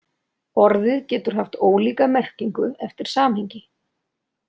Orðið getur haft ólíka merkingu eftir samhengi.